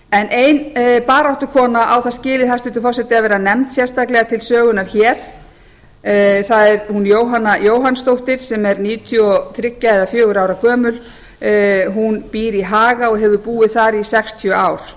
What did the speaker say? ein baráttukona á það skilið hæstvirtur forseti að vera nefnd sérstaklega til sögunnar hér það er hún jóhanna jóhannsdóttir sem er níutíu og þrjú eða níutíu og fjögurra ára gömul hún býr í haga og hefur búið þar í sextíu ár